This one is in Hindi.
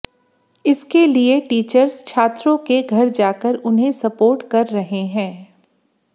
इसके लिए टीचर्स छात्रों के घर जाकर उन्हें सपोर्ट कर रहे हैं